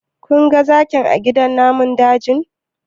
Kun ga zakin a gidan namun dajin?